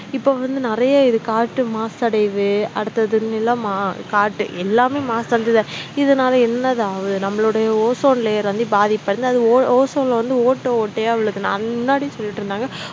இப்ப வந்து நிறைய இது காற்று மாசடையுது அடுத்தது எல்லாமே மாசடைஞ்சு தான் இதனால என்னதாவது நம்மளோடய ozone layer வந்து பாதிப்படைந்து அது o ozone ல வந்து ஓட்டை ஓட்டையா விழுது நா அதுக்கு முன்னாடியே சொல்லிட்டிருந்தாங்க